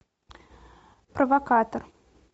провокатор